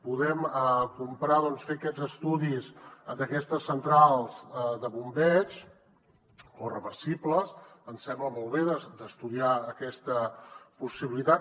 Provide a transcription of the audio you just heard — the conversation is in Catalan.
podem comprar doncs fer aquests estudis d’aquestes centrals de bombeig o reversibles ens sembla molt bé estudiar aquesta possibilitat